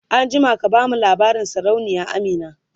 an jima ka bamu labarin sarauniya Amina!